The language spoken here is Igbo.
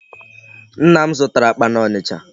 Nna m zụtara akpa n'Ọnịcha.